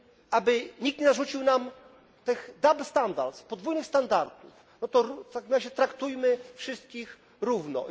aby nikt nie narzucił nam tych double standards podwójnych standardów, w takim razie traktujmy wszystkich równo.